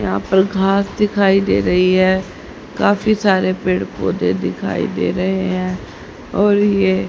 यहां पर घास दिखाई दे रही है काफी सारे पेड़ पौधे दिखाई दे रहे हैं और ये--